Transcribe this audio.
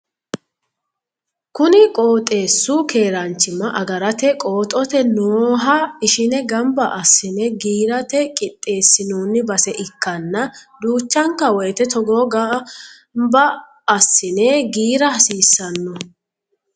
kuni qoxeesu keeranchimma agarate qooxote nooha ishine gamba assine giirate qixeesinoni base ikkana duchanka woyiite togo gamba assine giira hasiisanno.